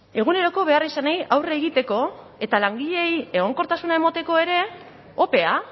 eguneroko beharrizanei aurre egiteko eta langileei egonkortasuna emateko ere opea